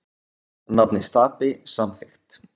Nafnið Stapi samþykkt